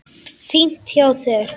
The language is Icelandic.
Fínt hjá þér.